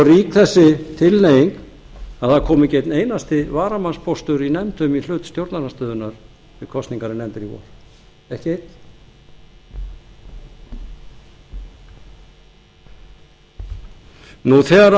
þessi tilhneiging er orðin svo rík að það kom ekki einn einasti varamannspóstur í nefndum í hlut stjórnarandstöðunnar við kosningar í nefndir í vor ekki neinn